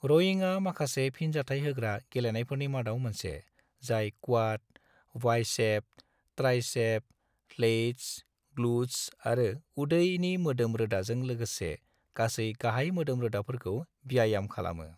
र'इंआ माखासे फिनजाथाय होग्रा गेलेनायफोरनि मादाव मोनसे जाय quad, biceps, triceps, lats, glutes आरो उदैनि मोदोम-रोदाजों लोगोसे गासै गाहाय मोदोम-रोदाफोरखौ ब्यायाम खालामो।